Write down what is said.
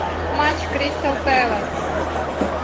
матч кристал пэлас